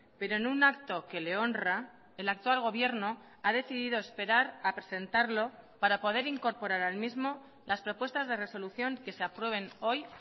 pero en un acto que le honra el actual gobierno ha decidido esperar a presentarlo para poder incorporar al mismo las propuestas de resolución que se aprueben hoy